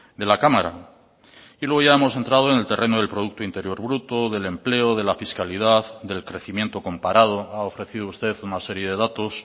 de la cámara y luego ya hemos entrado en el terreno del producto interior bruto del empleo de la fiscalidad del crecimiento comparado ha ofrecido usted una serie de datos